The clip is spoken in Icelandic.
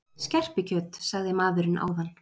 Skerpikjöt, sagði maðurinn áðan.